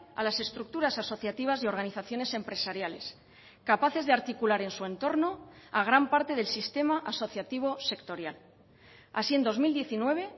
a las estructuras asociativas y organizaciones empresariales capaces de articular en su entorno a gran parte del sistema asociativo sectorial así en dos mil diecinueve